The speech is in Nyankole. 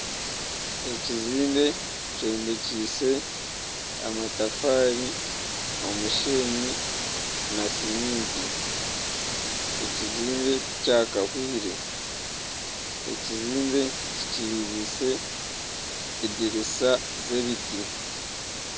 Ekizimbe kyombekyeise amatafaari, omusheenyi na siminti. Ekizimbe tikyakahwaire, ekizimbe kikingiise edirisa z'ebiti.